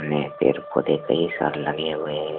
वे पेड़ पौधे कई सारे लगे हुए हैं।